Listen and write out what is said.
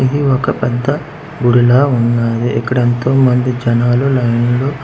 ఇది ఒక పెద్ద ఊరిల ఉన్నాది ఇక్కడ ఎంతో మంది జనాలు లైను లో--